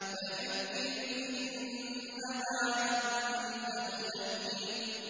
فَذَكِّرْ إِنَّمَا أَنتَ مُذَكِّرٌ